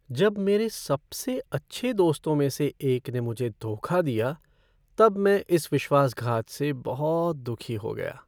जब मेरे सबसे अच्छे दोस्तों में से एक ने मुझे धोखा दिया तब मैं इस विश्वासघात से बहुत दुखी हो गया।